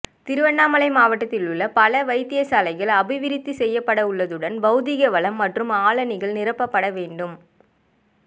திருகோணமலை மாவட்டத்திலுள்ள பல வைத்தியசாலைகள் அபிவிருத்தி செய்யப்படவுள்ளதுடன் பௌதீகவளம் மற்றும் ஆளணிகள் நிரப்படவேண்டும்